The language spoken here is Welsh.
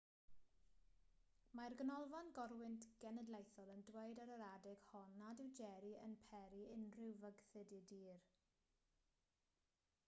mae'r ganolfan gorwynt genedlaethol yn dweud ar yr adeg hon nad yw jerry yn peri unrhyw fygythiad i dir